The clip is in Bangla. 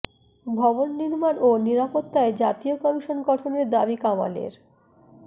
ভবন নির্মাণ ও নিরাপত্তায় জাতীয় কমিশন গঠনের দাবি কামালের